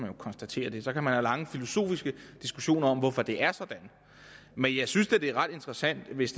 og konstatere det så kan man have lange filosofiske diskussioner om hvorfor det er sådan men jeg synes da det er ret interessant hvis